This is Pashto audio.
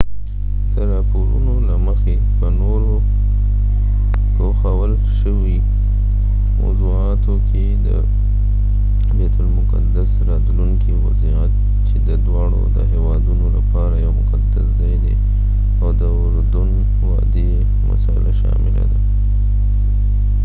د راپورونو له مخې په نورو پوښل شويو موضوعاتو کې د بیت المقدس راتلونکی وضعيت چې د دواړو هیوادونو لپاره يو مقدس ځای دی او د اردن وادۍ مسله شامله ده